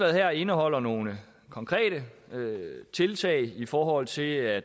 her indeholder nogle konkrete tiltag i forhold til at